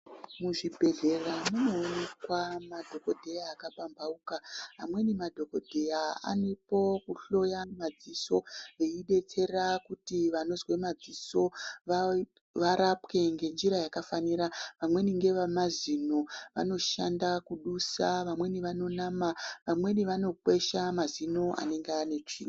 Muzvibhedhlera munoonekwa madhogodheya akapamhauka. Amweni madhogodheya aripo kuhloya madziso eidetsera kuti vanozwe madziso varapwe ngenjira yakafanira, vamweni ngavamazino, vanoshanda kudusa, vamweni vanonama, vamweni vanokwesha mazino anenge anetsvina.